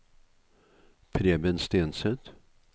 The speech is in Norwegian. Preben Stenseth